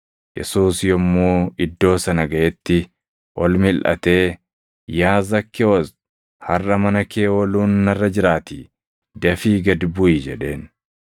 Yesuus yommuu iddoo sana gaʼetti ol milʼatee, “Yaa Zakkewoos, harʼa mana kee ooluun narra jiraatii dafii gad buʼi” jedheen.